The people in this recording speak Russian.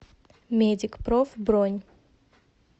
медикпроф бронь